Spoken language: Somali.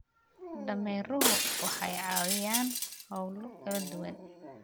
Dameeruhu waxay caawiyaan hawlo kala duwan.